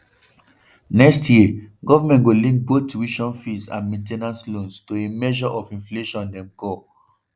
next year goment go link both tuition fees and main ten ance loans to a measure of inflation dem call